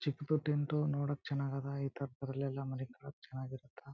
ಚಿಕ್ದು tent ನೋಡೋಕ್ ಚನ್ನಗದ ಇತರದ್ರಲ್ ಎಲ್ಲ ಮಳಿಕೊಳೋಕ್ ಚನ್ನಾಗ್ ಇರುತ್ತ.